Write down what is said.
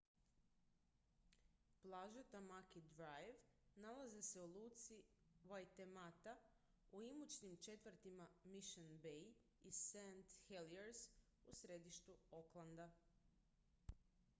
plaže tamaki drive nalaze se u luci waitemata u imućnim četvrtima mission bay i st heliers u središtu aucklanda